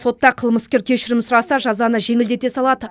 сотта қылмыскер кешірім сұраса жазаны жеңілдете салады